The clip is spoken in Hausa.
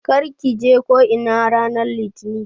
Kar ki je ko'ina ranar litini!